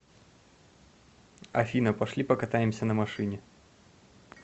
афина пошли покатаемся на машине